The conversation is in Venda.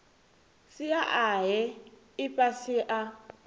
sia a he ifhasi a